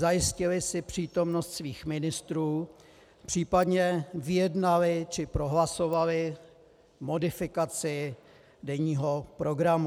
Zajistili si přítomnost svých ministrů, případně vyjednali či prohlasovali modifikaci denního programu.